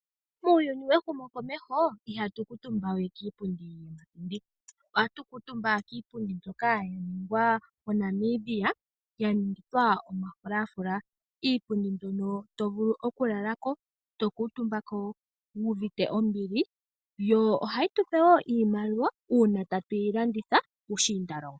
Muuyuni mehumokomeho ihatu kuutumba we kiipundi yiipilangi. Ohatu kuutumba kiipundi mbyoka yaningwa moNamibia, ya ningithwa omafulafula. Iipundi mbyono tovulu okulala ko, to kuutumba ko wuuvite ombili, yo ohayi tupe wo iimaliwa uuna tatu yi landitha puushindalongo.